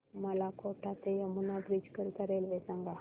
मला कोटा ते यमुना ब्रिज करीता रेल्वे सांगा